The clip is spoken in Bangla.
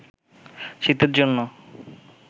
শীতের জন্য